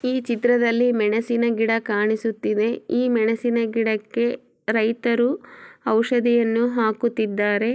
ಈ ಚಿತ್ರದಲ್ಲಿ ಮೆಣಸಿನ ಗಿಡ ಕಾಣಿಸುತ್ತಿದೆ ಈ ಮೆಣಸಿನ ಗಿಡಕ್ಕೆ ರೈತರು ಔಷಧಿಯನ್ನು ಹಾಕುತ್ತಿದ್ದಾರೆ.